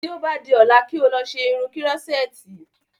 Tí o bá di ọ́la kí o lọ ṣe irun kírọ́sẹ̀tì